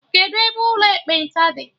Kedụ ebe ụlọ ekpenta dị?